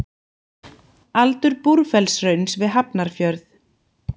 Aldur Búrfellshrauns við Hafnarfjörð.